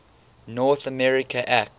north america act